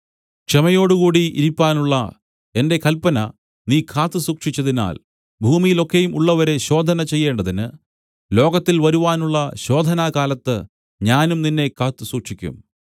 ക്ഷമയോടുകൂടി ഇരിപ്പാനുള്ള എന്റെ കല്പന നീ കാത്തുസൂക്ഷിച്ചതിനാൽ ഭൂമിയിൽ ഒക്കെയും ഉള്ളവരെ ശോധന ചെയ്യേണ്ടതിന് ലോകത്തിൽ വരുവാനുള്ള ശോധനാകാലത്ത് ഞാനും നിന്നെ കാത്തുസൂക്ഷിക്കും